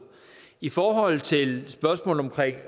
i forhold til spørgsmålet om